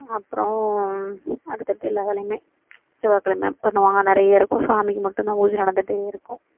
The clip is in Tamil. அப்பறோம் அடுத்தடுத்து எல்லாம் வேலையுமே செவ்வாய்க்கிழமை பண்ணுவாங்க நிறைய இருக்கும் சாமிக்கு மட்டும் தான் பூஜை நடந்துட்டே இருக்கும்